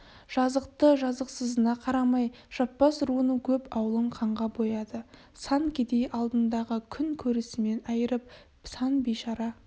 жазықты-жазықсызына қарамай жаппас руының көп аулын қанға бояды сан кедей алдындағы күн көрісінен айрылып сан бейшара